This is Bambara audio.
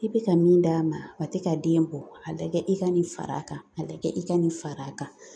I bɛ ka min d'a ma, a tɛ ka den bɔ, a lagɛ i ka nin far'a kan, a lagɛ i ka nin far'a kan .